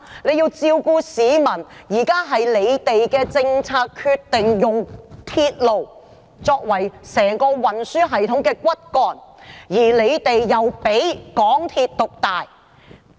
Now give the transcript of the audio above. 現在是政府政策決定用鐵路作為整個運輸系統的骨幹，並讓港鐵獨大。